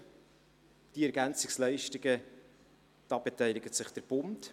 An den Kosten dieser EL beteiligt sich der Bund.